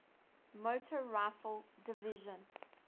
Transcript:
motor rifle division